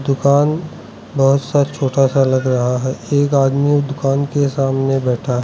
दुकान बहुत सा छोटा सा लग रहा है एक आदमी दुकान के सामने बैठा है।